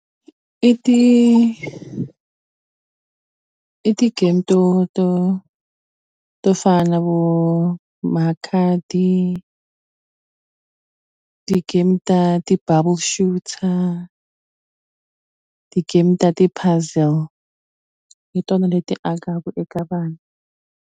I ti i ti-game to to to fana na vo makhadi ti-game ta ti-bubble shooter ti-game ta ti-puzzle hi tona leti akaku eka vanhu.